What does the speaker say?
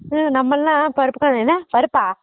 ஹம் நம்மலாம் பருப்பு கடஞ்ச என்ன பருப்பா